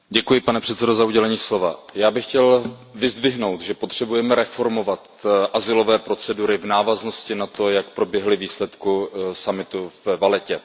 Pane předsedající, já bych chtěl vyzdvihnout, že potřebujeme reformovat azylové procedury v návaznosti na to, jak proběhly výsledky summitu ve Vallettě.